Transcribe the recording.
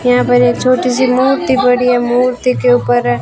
यहां पर एक छोटी सी मूर्ति पड़ी है मूर्ति के ऊपर--